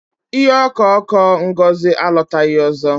Ihe ọko ọkụ Ngozi alọtaghị ọzọ.